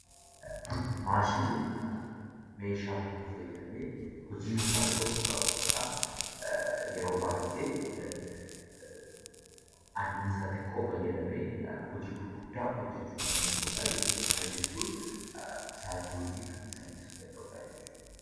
Maashiniin meeshaa humna fayyadamee hojii murtaa'e tokko raawwatu dha. Yeroo baay'ee annisaa xiqqoo fayyadamee hojii gurguddaa hojjechuu kan danda'u dha jechuu dha. Kana jechuun sa'atii hojii kan salphisuu danda'u dha jechuu dha.